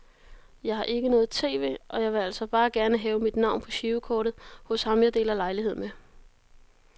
Jeg har ikke noget tv, og jeg ville altså bare gerne have mit navn på girokortet hos ham jeg deler lejlighed med.